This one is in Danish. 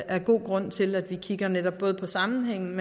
er god grund til at vi kigger netop både på sammenhængen